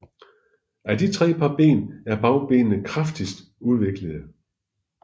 Af de tre par ben er bagbenene kraftigst udviklede